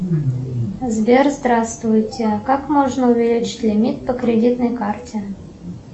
сбер здравствуйте как можно увеличить лимит по кредитной карте